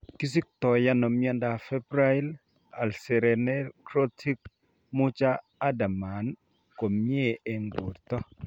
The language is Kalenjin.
Kisiktoono miondab febrile ulceronecrotic Mucha Habermann komyee eng' borto